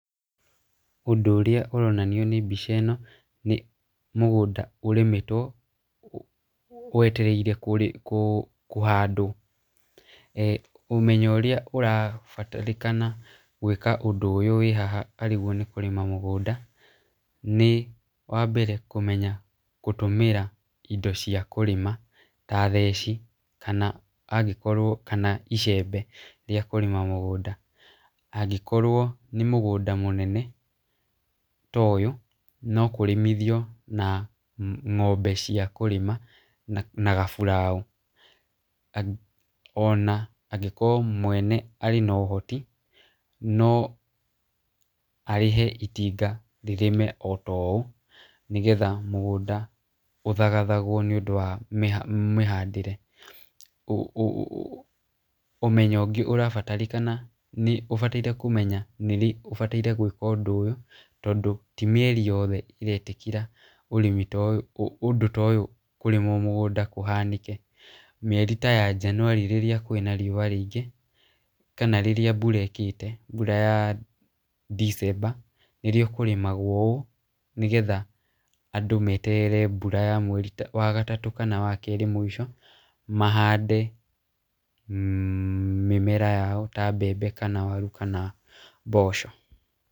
Ũndũ ũrĩa ũronanio nĩ mbica ĩno, mũgũnda ũrĩmĩtwo wetereirwo kũrĩ kũhandwo , e ũmenyo ũrĩa ũrabatarikana gwĩka ũndũ ũyũ wĩ haha arĩgwo nĩkũrĩma mũgũnda, nĩ wa mbere kũmenya gũtũmĩra indo cia kũrĩma, ta theci kana angĩkorwo kana icembe rĩa kũrĩma mũgũnda, angĩkorwo nĩ mũgũnda mũnene ta ũyũ, no kũrĩmithio na ngombe cia kũrĩma na gaburaũ, ona angĩkorwo mwene arĩ na ũhoti, no arĩhe itinga rĩrĩme o ta ũũ, nĩgetha mũgũnda ũthagathagwo nĩ ũndũ wa mĩhandĩre, ũ ũmenyo ũngĩ ũrabatarĩkana, nĩ ũbataire kũmenya nĩ rĩ ũbataire gĩkwa ũndũ ũyũ, tondũ ti mieri yothe ĩretĩkĩra ũrĩmi ta ũyũ, ũndũ ta ũyũ kũrĩmwo mũgũnda kũhanĩke, mieri ta ya Njanuari rĩrĩa kwĩna riũa rĩingĩ , kana rĩrĩa mbura ĩkĩte mbura ya December nĩrwo kũrĩmagwo ũũ, nĩgetha andũ meterere mbura ya mweri wa gatatũ kana kerĩ mũico, mahande mĩmera yao ta mbembe kana waru, kana mboco.